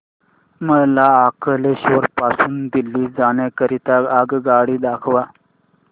मला अंकलेश्वर पासून दिल्ली जाण्या करीता आगगाडी दाखवा